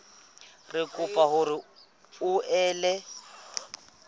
re kopa hore o ele